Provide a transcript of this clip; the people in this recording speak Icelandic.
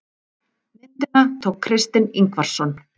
Myndina tók Kristinn Ingvarsson.